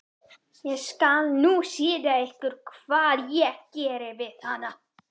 Ég skal nú sýna ykkur hvað ég geri við hana!